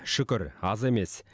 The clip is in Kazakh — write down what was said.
шүкір аз емес